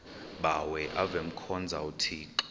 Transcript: bawo avemkhonza uthixo